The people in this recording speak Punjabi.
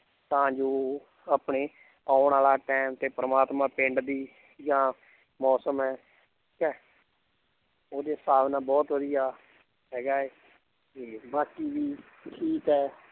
ਤਾਂ ਜੋ ਉਹ ਆਪਣੇ ਆਉਣ ਵਾਲਾ time ਤੇ ਪ੍ਰਮਾਤਮਾ ਪਿੰਡ ਦੀ ਜਾਂ ਮੌਸਮ ਹੈ ਉਹਦੇ ਹਿਸਾਬ ਨਾਲ ਬਹੁਤ ਵਧੀਆ ਹੈਗਾ ਹੈ ਤੇ ਬਾਕੀ ਵੀ ਠੀਕ ਹੈ l